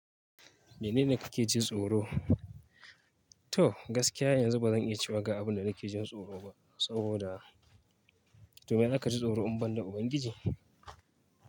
Menene kake jin tsoro? To gaskiya yanzu bazan iya cewa ga abin da nake jin tsoro ba, saboda domin aka ji tsoro in ban da Ubangiji.